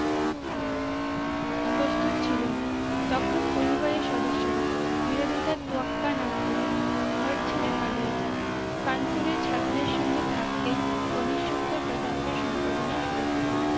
প্রস্তুত ছিল না তখন পরিবারের সদস্যরা বিরোধিতার তুয়াক্কা না করে ঘর ছেড়ে পালিয়ে যাই কানপুরের ছাত্রীর সঙ্গে থাকতেই গণেশ শঙ্কর প্রতাপের সম্পাদনাই শুরু করেন